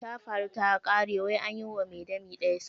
Tafaru takare wai anyiwa mai dami daya sata.